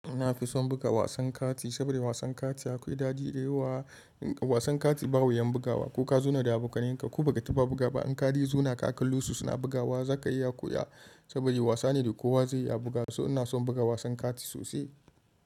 Nafi son buga wasan kati saboda wasan kati akwai daɗi da yawa. Wasan kati ba wuyan bugawa, ko ka zuna da abokan yanka ko ba ka taba buga ba. In ka de zona ka kallo su suna bugawa zaka iya koya saboda wasa ne da kowa zai iya buga wa so ina son buga wasan kati sosai.